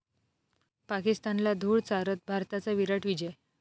पाकिस्तानला धूळ चारत, भारताचा 'विराट' विजय